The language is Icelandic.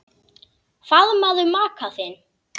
Faðmaðu maka þinn.